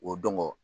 O dɔn